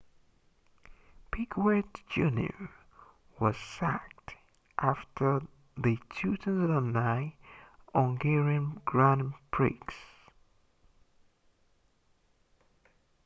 piquet jr was sacked after the 2009 hungarian grand prix